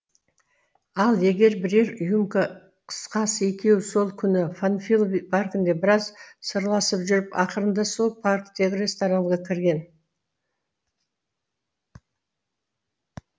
ал егер бірер рюмка қысқасы екеуі сол күні панфилов паркінде біраз сырласып жүріп ақырында сол парктегі ресторанға кірген